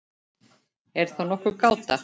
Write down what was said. Er þá nokkur gáta?